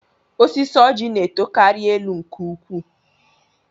Osisi Ọjị na-etokarị elu nke ukwuu